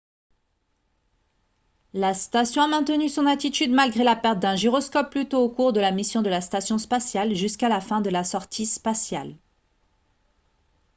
la station a maintenu son attitude malgré la perte d'un gyroscope plus tôt au cours de la mission de la station spatiale jusqu'à la fin de la sortie spatiale